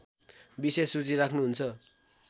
विशेष रुचि राख्नुहुन्छ